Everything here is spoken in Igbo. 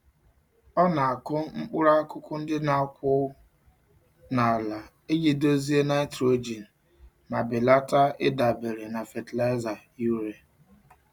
Ọ na-akụ mkpụrụ-akụkụ ndị n'akwụ n'ala iji dozie nitrogen ma belata ịdabere na fatịlaịza urea.